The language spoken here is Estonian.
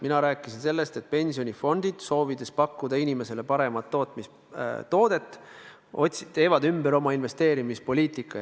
Mina rääkisin sellest, et pensionifondid, soovides pakkuda inimesele paremat toodet, teevad oma investeerimispoliitika ümber.